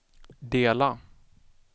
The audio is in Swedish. dela